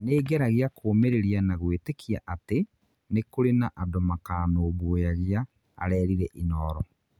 nĩngeragia kũmĩrĩria na gwĩtĩkia atĩ nĩ kurĩ na andũ makanumbũyagia," arerire inooro